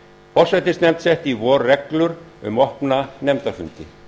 forsætisnefnd setti í vor reglur um opna nefndafundi